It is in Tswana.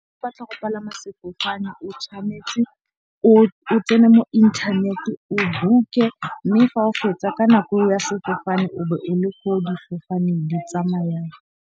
O batla go palama sefofane o tshwanetse o tsene mo inthaneteng o book-e. Mme fa o fetsa ka nako eo ya sefofane o be o le ko difofane di tsamayang.